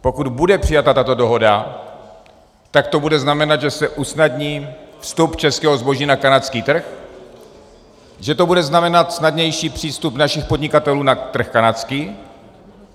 Pokud bude přijata tato dohoda, tak to bude znamenat, že se usnadní vstup českého zboží na kanadský trh, že to bude znamenat snadnější přístup našich podnikatelů na trh kanadský.